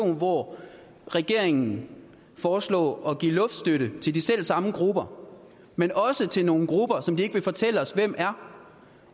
hvor regeringen foreslår at give luftstøtte til de selv samme grupper men også til nogle grupper som de ikke vil fortælle os hvem er